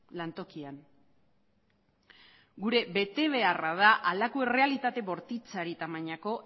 lantokian gure betebeharra da halako errealitate bortitzari tamainako